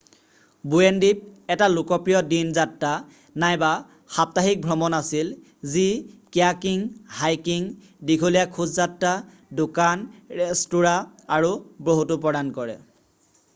"Bowen দ্বীপ এটা লোকপ্ৰিয় দিন যাত্ৰা নাইবা সাপ্তাহিক ভ্ৰমণ আছিল যি কীয়াকিং হাইকিং দীঘলীয়া খোজযাত্ৰা দোকান ৰেস্তোৰাঁ আৰু বহুতো প্ৰদান কৰে ।""